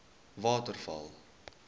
waterval